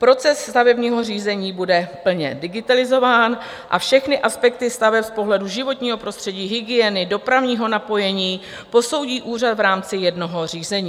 Proces stavebního řízení bude plně digitalizován a všechny aspekty staveb z pohledu životního prostředí, hygieny, dopravního napojení posoudí úřad v rámci jednoho řízení.